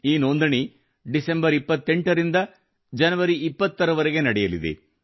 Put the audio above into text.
ಈ ನೋಂದಣಿ ಡಿಸೆಂಬರ್ 28 ರಿಂದ ಜನವರಿ 20 ರವರೆಗೆ ನಡೆಯಲಿದೆ